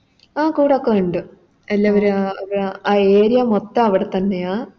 ആ കൂടൊക്കെ ഒണ്ട് എല്ലാവര് ആ Area മൊത്തം അവിടെത്തന്നെയാ